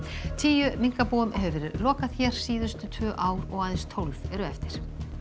tíu minkabúum hefur verið lokað hér síðustu tvö ár og aðeins tólf eru eftir